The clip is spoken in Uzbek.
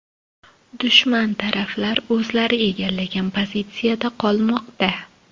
Dushman taraflar o‘zlari egallagan pozitsiyada qolmoqda.